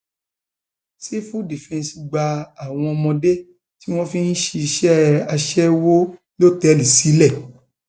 sífù dífẹǹsì gba àwọn ọmọdé tí wọn fi ń ṣiṣẹ aṣẹwó lọtẹẹlì sílẹ